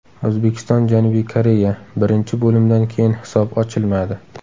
O‘zbekiston − Janubiy Koreya: Birinchi bo‘limdan keyin hisob ochilmadi.